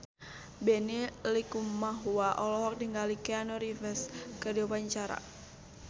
Benny Likumahua olohok ningali Keanu Reeves keur diwawancara